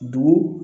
Dugu